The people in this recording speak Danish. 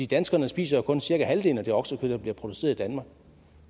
danskerne spiser jo kun cirka halvdelen af det oksekød der bliver produceret i danmark og